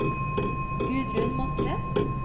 Gudrun Matre